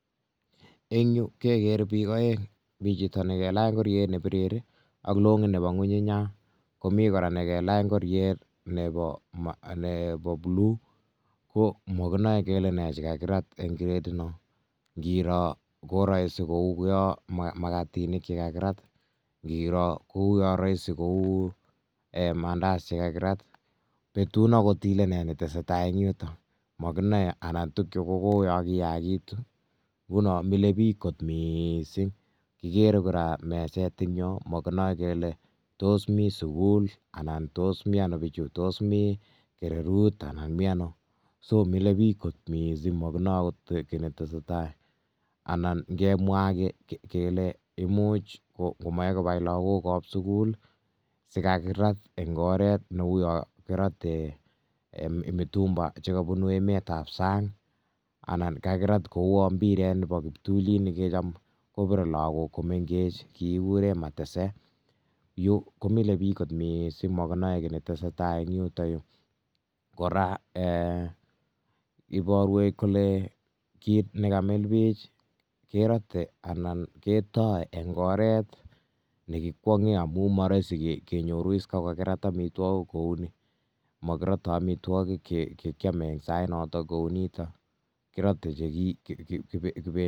eng yu kekere bik aeng mi chito ne kelach ngoryet ne birir ak longit ne ngungunya ak age kelach ngoryet ne blue ko makinae kele ne nakakirat eng crate ino ,ngiro kouyaa raisi ko mandazi ne kakirat ,betun angot kele ne netesetai eng yu anan tukchutok ko tuguk che kikoyakitu .kikere meset eng yu magnae nguno komi sukul anan ko kererut ,mile bich kot missing amu makinae ne netesetai eng yu.makirate amitwakik che kiame akot eng oret nito. ibarwech kole makirate amitwakik che kiame eng oret nitok ni